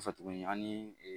Kɔfɛ tuguni an ni